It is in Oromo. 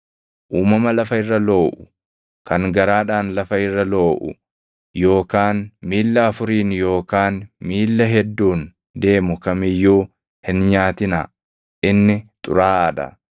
Uumama lafa irra looʼu kan garaadhaan lafa irra looʼu yookaan miilla afuriin yookaan miilla hedduun deemu kam iyyuu hin nyaatinaa; inni xuraaʼaa dha.